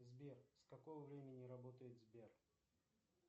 сбер с какого времени работает сбер